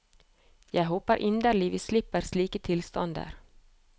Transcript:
Jeg håper inderlig vi slipper slike tilstander.